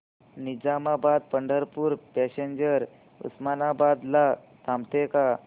Nizamabad Pandharpur passenger Osmanabad ला थांबते का